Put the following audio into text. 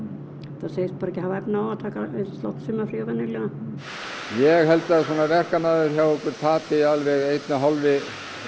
það segist bara ekki hafa efni á að taka jafn langt sumarfrí og venjulega ég held að svona verkamaður hjá okkur tapi alveg einni og hálfri